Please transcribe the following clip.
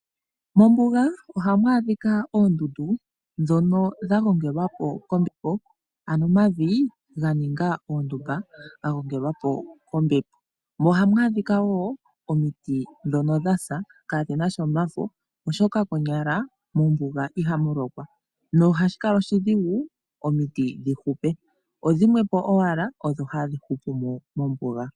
Mombuga ohamu adhika oondundu ndhono dha gongelwa po kombepo ano omavi ga ninga oondumba ga gongelwa po kombepo mo ohamu adhika woo omiti ndhono dha sa, kaadhina sha omafo oshoka konyala mombuga ihamu lokwa na ohashi kala oshidhigu omiti dhi hupe, odhi mwepo owala odho hadhi hupu mo mombuga.